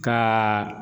Ka